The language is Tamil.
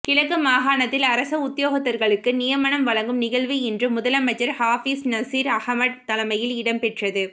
கிழக்கு மாகாணத்தில் அரச உத்தியோகத்தர்களுக்கு நியமனம் வழங்கும் நிகழ்வு இன்று முதலமைச்சர் ஹாபிஸ் நசீர் அஹமட் தலைமையில் இடம்பெற்றது